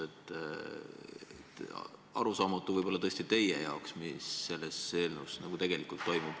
Arusaamatu võib olla tõesti teie jaoks, mis selles eelnõus tegelikult toimub.